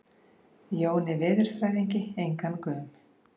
Jóni veðurfræðingi engan gaum.